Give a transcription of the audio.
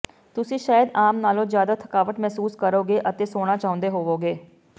ਤੁਸੀਂ ਸ਼ਾਇਦ ਆਮ ਨਾਲੋਂ ਜ਼ਿਆਦਾ ਥਕਾਵਟ ਮਹਿਸੂਸ ਕਰੋਗੇ ਅਤੇ ਸੌਣਾ ਚਾਹੁੰਦੇ ਹੋਵੋਗੇ